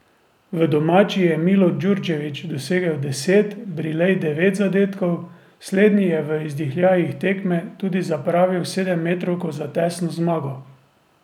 V domači je Milo Djurdjević dosegel deset, Brilej devet zadetkov, slednji je v izdihljajih tekme tudi zapravil sedemmetrovko za tesno zmago.